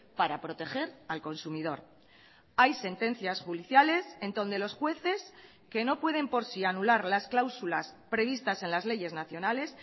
para proteger al consumidor hay sentencias judiciales en donde los jueces que no pueden por sí anular las cláusulas previstas en las leyes nacionales